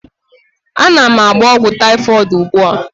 Ana m agba ogwu typhoid ugbua